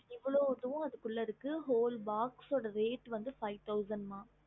இவ்ளோவும் அதுக்குள்ள இருக்கு ol box reat ஐந்துதயிரம்